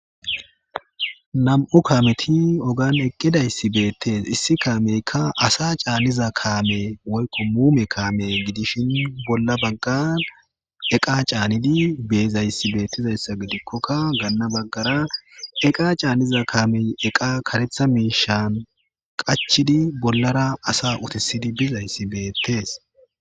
Nam'u kaameti ogan eqqidayssi beettees issi kaameykka asa caanniza kaame woykqo muume kaame gidishin bolla baggan eqa caannidi beezayssi beettizayssa gidikkokka gaanna baggara eqa caanniza kaamey eqa karetha miishan qachidi bollara asa utisidi bizayssi beettees.